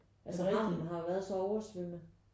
Altså havnen har jo været så oversvømmet